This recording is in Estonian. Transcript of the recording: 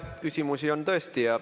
Küsimusi on tõesti.